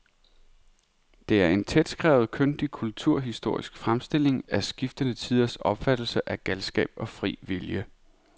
Det er en tætskrevet, kyndig kulturhistorisk fremstilling af skiftende tiders opfattelse af galskab og fri vilje.